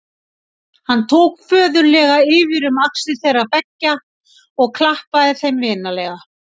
Hann tók föðurlega yfir um axlir þeirra beggja og klappaði þeim vinalega.